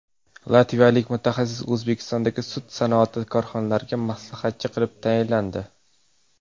Latviyalik mutaxassis O‘zbekistondagi sut sanoati korxonalariga maslahatchi qilib tayinlandi.